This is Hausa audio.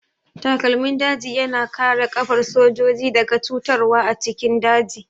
Takalmin daji ya na kare ƙafar sojoji daga cutarwa a cikin daji